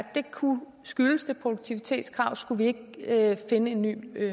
skyldes det produktivitetskravet skulle vi ikke finde en ny